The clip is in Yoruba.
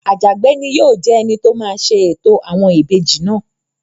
Àjàgbé ni yóò jẹ́ ẹni tó máa ṣe ètò àwọn ìbejì náà